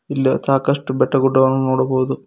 ಇಲ್ಲಿ ಸಾಕಷ್ಟು ಬೆಟ್ಟ ಗುಡ್ಡಗಳನ್ನು ನೋಡಬಹುದು.